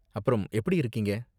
அப்றம், எப்படி இருக்கீங்க?